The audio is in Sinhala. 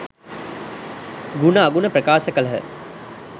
ගුණ අගුණ ප්‍රකාශ කළ හ.